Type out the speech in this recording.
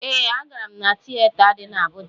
Ee, agara m tiyeta dị n'Abụja.